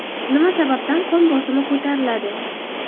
Nima sababdan qon bosimi ko‘tariladi?.